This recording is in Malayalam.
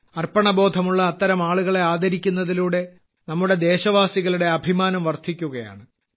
അർപ്പണബോധമുള്ള അത്തരം ആളുകളെ ആദരിക്കുന്നതിലൂടെ നമ്മുടെ ദേശവാസികളുടെ അഭിമാനം വർദ്ധിക്കുകയാണ്